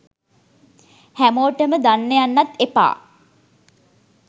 හැමොටම දන්න යන්නත් එපා.